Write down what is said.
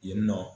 Yen nɔ